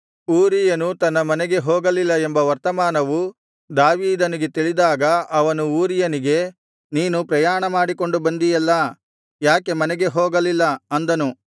ಊರೀಯನು ತನ್ನ ಮನೆಗೆ ಹೋಗಲಿಲ್ಲ ಎಂಬ ವರ್ತಮಾನವು ದಾವೀದನಿಗೆ ತಿಳಿದಾಗ ಅವನು ಊರೀಯನಿಗೆ ನೀನು ಪ್ರಯಾಣಮಾಡಿಕೊಂಡು ಬಂದಿಯಲ್ಲಾ ಯಾಕೆ ಮನೆಗೆ ಹೋಗಲಿಲ್ಲ ಅಂದನು